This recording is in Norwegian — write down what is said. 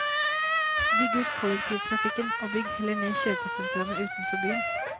Bygg ut kollektivtrafikken, og bygg heller ned kjøpesentraene utenfor byen.